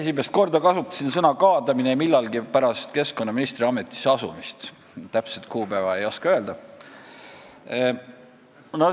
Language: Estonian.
Esimest korda kasutasin sõna "kaadamine" millalgi pärast keskkonnaministri ametisse asumist, täpset kuupäeva ei oska öelda.